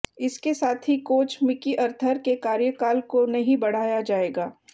इसके साथ ही कोच मिकी अर्थर के कार्यकाल को नहीं बढ़ाया जाएगा